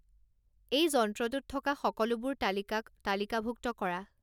এই যন্ত্ৰটোত থকা সকলোবোৰ তালিকাক তালিকাভুক্ত কৰা